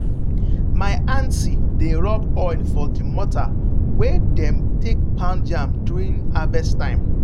my aunty dey rub oil for the mortar wey dem take pound yam during harvest time.